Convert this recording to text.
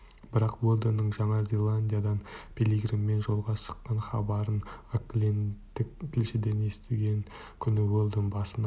бірақ уэлдонның жаңа зеландиядан пилигриммен жолға шыққан хабарын оклендтік тілшіден естіген күні уэлдон басына